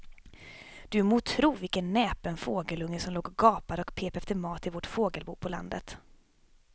Du må tro vilken näpen fågelunge som låg och gapade och pep efter mat i vårt fågelbo på landet.